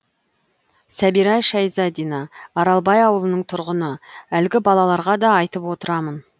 сәбира шайзадина аралбай ауылының тұрғыны әлгі балаларға да айтып отырамын